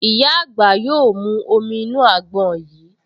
Ìyá àgbà yóò mú omi inú àgbọn yìí